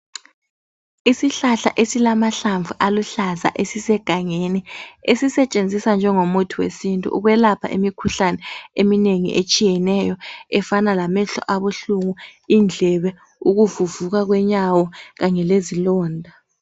Isihlahla esilamahlamvu aluhlaza esisegangeni esisetshenziswa njengomuthi wesintu ukwelapha imikhuhlane eminegi etshiyeneyo efana lamehlo abuhlungu, indlebe, ukuvuvuka kwenyawo kanye lezilonda